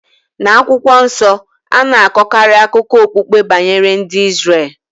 Na akwukwo nso, a na-akọkarị akụkọ okpukpe banyere ndị Izrel.